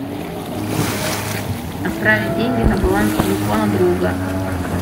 отправить деньги на баланс телефона друга